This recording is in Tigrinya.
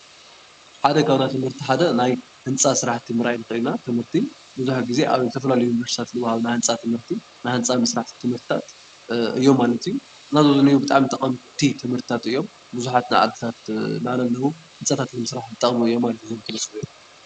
ሓደ ካብ ናይ ትምህርቲ ሓደ ህንፃ ስራሕቲ ምርኣይ ንኽእል ኢና፡፡ ትምህርቲ ብዙሕ ግዜ ኣብ ዝተፈላለዩ ዩኒቨርሲቲታት ልወሃብ ናይ ህንፃ ትምህርቲ ናይ ህንፃ ምስራሕ ትምህርታት እዮም ማለት እዩ፡፡ እና ኣብዚ ዝኒኦ ብጣዕሚ ጠቐምቲ ትምህርትታት እዮም፡፡ ብዙሓት ናይ ዓድታት ንዓና ለለዉ ዓይነት ህንፃታት ንምስራሕ ይጠቕሙ እዮም ማለት እዩ፡፡